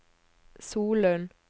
Solund